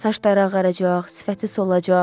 Saçları ağaracaq, sifəti solacaq.